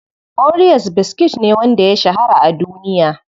Oreos biskit ne wanda ya shahara a duniya.